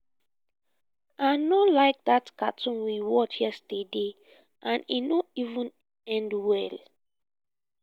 i no like dat cartoon we watch yesterday and e no even end well